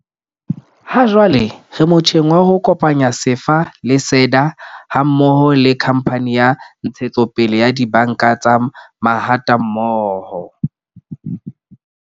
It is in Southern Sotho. Hajwale re motjheng wa ho kopanya SEFA le SEDA ha mmoho le Khamphane ya Ntshetsopele ya Dibanka tsa Mahatammoho.